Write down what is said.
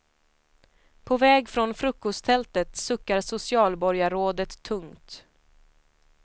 På väg från frukosttältet suckar socialborgarrådet tungt.